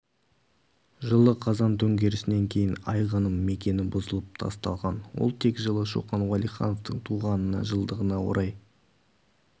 жылы қазан төңкерісінен кейін айғаным мекені бұзылып тасталған ол тек жылы шоқан уәлихановтың туғанына жылдығына орай